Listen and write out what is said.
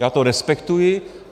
Já to respektuji.